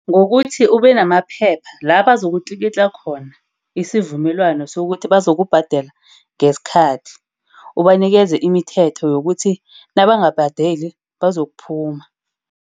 Ngokuthi ube namaphepha la bazokutlikitla khona isivumelwano sokukuthi bazokubhadela ngesikhathi. Ubanikeze imithetho yokuthi nabangabhadeli bazokuphuma.